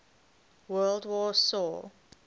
world war saw